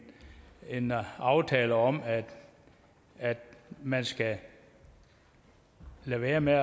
aftale om at man skal lade være med